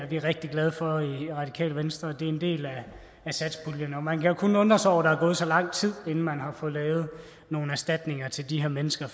vi rigtig glade for i radikale venstre det er en del af satspuljen man kan jo kun undre sig over at der er gået så lang tid inden man har fået lavet nogle erstatninger til de her mennesker